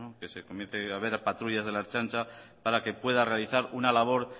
que se comience a ver patrullas de la ertzaintza para que pueda realizar una labor